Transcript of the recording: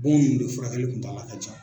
Bon ninnu de furakɛli kuntaala ka jan.